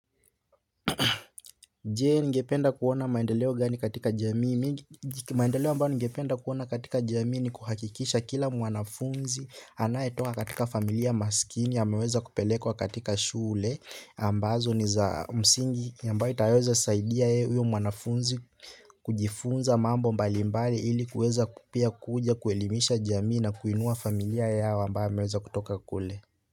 Je. Ningependa kuona maendeleo gaani katika jamii, maendeleo ambayo ningependa kuona katika jamii ni kuhakikisha kila mwanafunzi anayetoka katika familia maskini ameeza kupelekwa katika shule ambazo ni za msingi ambayo itasaidia huyo mwanafunzi kujifunza mambo mbalimbari ili kuweza kupia kuja kuelimisha jamii na kuinua familia yao ambayo ameweza kutoka kule.